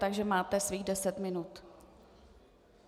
Takže máte svých deset minut.